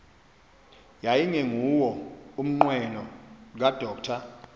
yayingenguwo umnqweno kadr